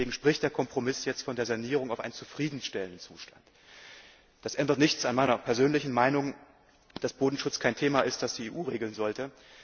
Deswegen spricht der Kompromiss jetzt von der Sanierung auf einen zufriedenstellenden Zustand. Das ändert nichts an meiner persönlichen Meinung, dass Bodenschutz kein Thema ist, das die EU regeln sollte.